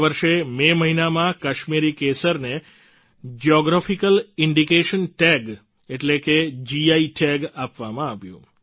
આ વર્ષે મે મહિનામાં કાશ્મીરી કેસરને જિયોગ્રાફિકલ ઇન્ડિકેશન ટેગ એટલે કે જીઆઈ ટેગ આપવામાં આવ્યું